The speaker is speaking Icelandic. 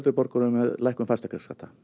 borgurum með lækkun fasteignaskatta